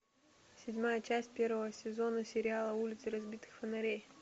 седьмая часть первого сезона сериала улицы разбитых фонарей